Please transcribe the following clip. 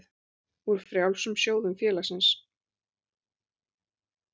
úr frjálsum sjóðum félagsins.